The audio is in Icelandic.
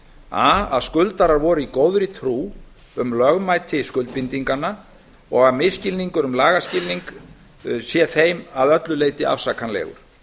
a að skuldarar voru í góðri trú um lögmæti skuldbindinganna og að misskilningur um lagaskilning sé þeim að öllu leyti afsakanlegur